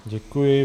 Děkuji.